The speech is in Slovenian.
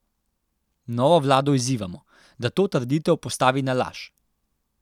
Novo vlado izzivamo, da to trditev postavi na laž.